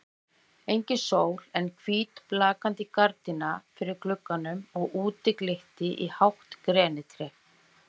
Engin sól en hvít blaktandi gardína fyrir glugganum og úti glitti í hátt grenitré.